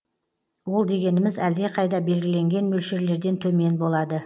ол дегеніміз әлдеқайда белгіленген мөлшерлерден төмен болады